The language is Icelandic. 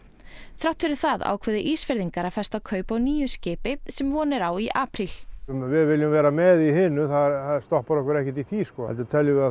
þrátt fyrir það ákváðu Ísfirðingar að festa kaup á nýju skipi sem von er á í apríl við viljum vera með í hinu það stoppar okkur ekkert í því heldur teljum við að